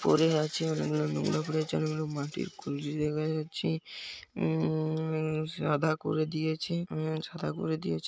পড়ে আছে অনেকগুলো নোংরা পড়ে আছে অনেকগুলো মাটির কুলশী দেখা যাচ্ছে উম সাদা করে দিয়েছে উম সাদা করে দিয়েছ--